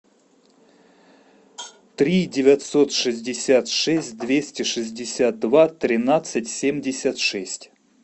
три девятьсот шестьдесят шесть двести шестьдесят два тринадцать семьдесят шесть